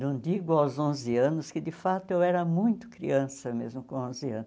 Não digo aos onze anos, que de fato eu era muito criança mesmo com onze anos.